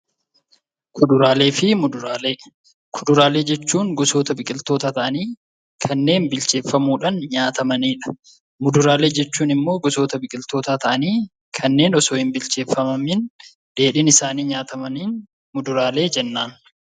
Kuduraalee jechuun gosoota biqiltootaa ta'anii kanneen bilcheeffamuudhaan nyaatamanidha. Fuduraaleen ammoo kanneen osoo hinbilcheeffamiin dheedhiin isaanii nyaatamani muduraalee jennaan.